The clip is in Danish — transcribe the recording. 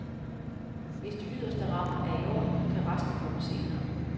Hvis de yderste rammer er i orden, kan resten komme senere.